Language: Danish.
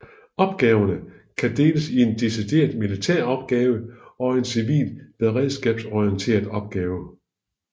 Opgaverne kan deles i en decideret militær opgave og en civil beredskabsorienteret opgave